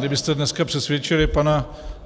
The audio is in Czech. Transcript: Kdybyste dneska přesvědčili